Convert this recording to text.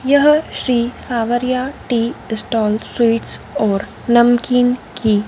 यह Shri Sawariyan tea stall sweets और नमकीन की--